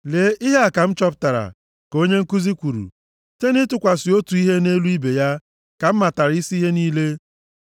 “Lee, Ihe a ka m chọpụtara,” ka onye nkuzi kwuru: “Site nʼịtụkwasị otu ihe nʼelu ibe ya ka m matara isi ihe niile.